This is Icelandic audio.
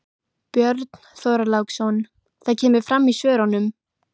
Björn Þorláksson: Það kemur fram í svörunum?